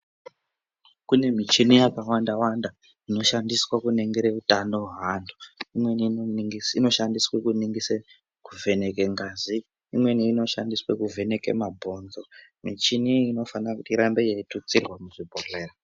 Kune michini yakawandawanda inoshandiswe kuningire utano hweantu. Imweni inoshandiswe kuningise kuvheneke ngazi, imweni inoshandiswe kuvheneke mabhonzo. Muchini iyi onofane kuti irambe yeitutsirwa muzvibhodhlera.